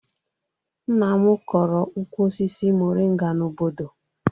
Nna m kọrọ ukwu osisi moringa n'obodo